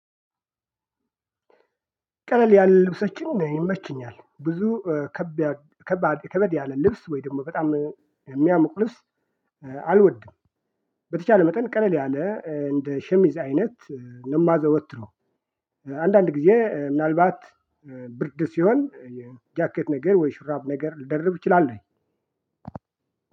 ቀለል ያለ ልብሶችን ይመቹኛል ብዙ ከባድ ከበድ ያለ ልብስ ወይ ደግሞ የሚያሞቅ ልብስ አልወድም። በተቻለ መጠን ቀለል ያለ እንደ ሸሚዝ አይነት ነው ማዘወትረው። አንዳንድ ጊዜ ምናልባት ብርድ ሲሆን ጃኬት ነገር ወይ ሹራብ ነገር ልደርብ አችላለሁኝ።